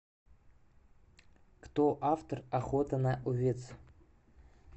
кто автор охота на овец